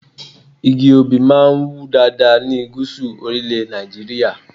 Igi Obì máa ń wù dáadáa ní Gúsù orílẹ̀ Nàìjíríà.